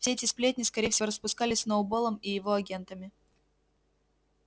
все эти сплетни скорее всего распускались сноуболлом и его агентами